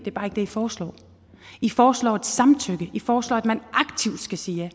er bare ikke det i foreslår i foreslår et samtykke i foreslår at man aktivt skal sige ja